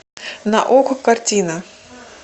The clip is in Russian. на окко картина